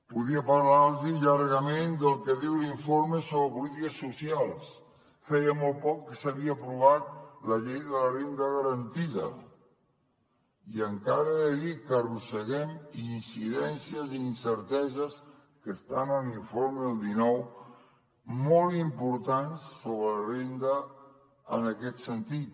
podria parlar los llargament del que diu l’informe sobre polítiques socials feia molt poc que s’havia aprovat la llei de la renda garantida i encara era ahir que arrosseguem incidències i incerteses que estan en l’informe del dinou molt importants sobre la renda en aquest sentit